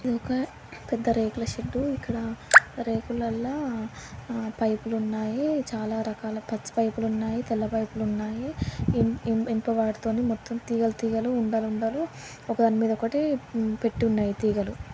ఇది ఒక పెద్ద రేకుల షెడ్ ఇక్కడ రేకులలో పైపులు ఉన్నాయి చాలా రకాల పచ్చ పైపులు ఉన్నాయి తెలని పైపులు ఉన్నాయి ఇనుప వట్టి తొట్టి తీగలు తీగలు ఉండలు ఉండలు ఒకదానివే మీద ఒకటి పెట్టి ఉన్నాయి.